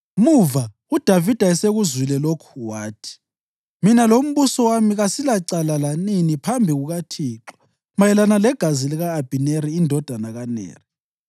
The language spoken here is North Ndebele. Muva, uDavida esekuzwile lokhu, wathi, “Mina lombuso wami kasilacala lanini phambi kukaThixo mayelana legazi lika-Abhineri indodana kaNeri.